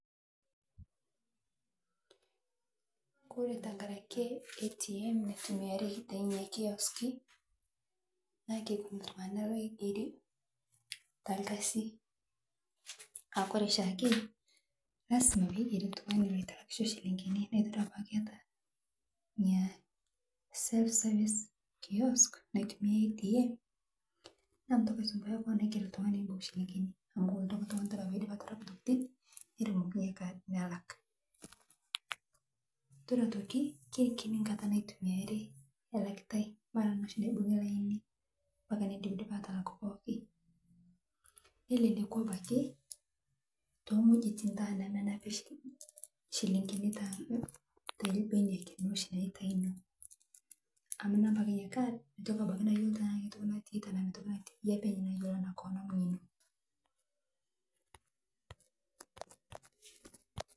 Kore tankarakee ATM naitumiarii tenenia kioskii naa keikuni ltungana loigerii talkazii aakore shaake ngaz lazima peigerii ltungani loitalakisho silinkini naa itodua paaku iata inia self service kiosk naitumia ATM naa mintokii aisumpuayaa koon aiger ltungani oibung silinkini amu kolotu ake ltungani Kore peidip atarapu ntokitin neremokii inia kaad nalak itodua otokii keikini nkataa naitumiari elakitai eibungutai mpaka noshi neidipi laini mpaka nindipdip atalak pooki nelelekuu abaki te nghojitin nenapii shi shilinginii telbenia loshii naa eitai amu inap ake inia kaad meitoki abaki nayoloo tanaa keitoki natii tanaa meitoki natii yie akee apeny koon eyoloo anaa koon